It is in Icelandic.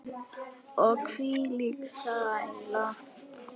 Og hvílík sæla.